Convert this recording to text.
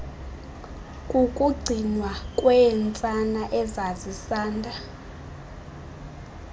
kukugcinwa kweentsana ezisanda